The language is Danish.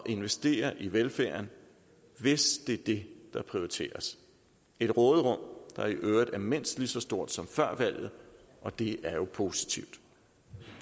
investere i velfærden hvis det er det der prioriteres et råderum der i øvrigt er mindst lige så stort som før valget og det er jo positivt